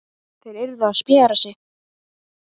Þær yrðu að spjara sig.